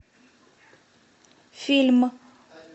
фильм